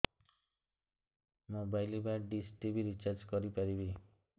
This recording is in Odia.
ମୋବାଇଲ୍ ବା ଡିସ୍ ଟିଭି ରିଚାର୍ଜ କରି ପାରିବି